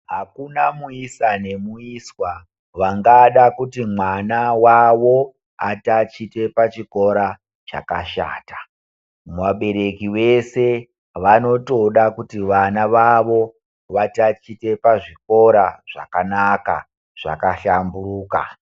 Akuna muisa ne muiswa vangada kuti mwana wawo atatiche pa chikora chakashata vabereki vese vanotoda kuti vana vavo va tatiche pa zvikora zvakanaka zvaka hlamburika.